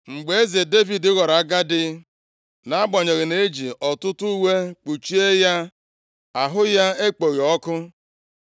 Mgbe eze Devid ghọrọ agadi, nʼagbanyeghị na-eji ọtụtụ uwe kpuchie ya, ahụ ya ekpoghị ọkụ.